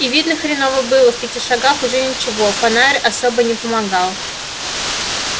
и видно хреново было в пяти шагах уже ничего фонарь особо не помогал